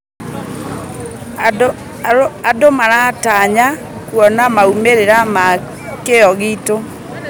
Andũ maratanya kuona maumĩrĩra ma kĩyo gitũ.